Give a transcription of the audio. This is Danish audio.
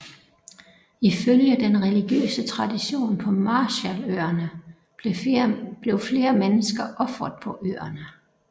Ifølge den religiøse traditionen på Marshalløerne blev flere mennesker ofret på øerne